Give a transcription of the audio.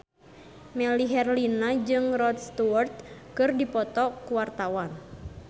Melly Herlina jeung Rod Stewart keur dipoto ku wartawan